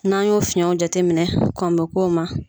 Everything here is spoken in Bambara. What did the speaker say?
N'an y'o fiyɛnw jate minɛ bɛ kɔn bo k'o ma.